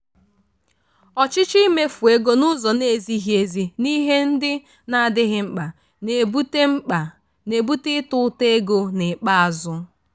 ọchịchọ imefu ego n'ụzọ na-ezighi ezi n'ihe ndị na-adịghi mkpa na-ebute mkpa na-ebute ịta ụta ego n'ikpeazụ.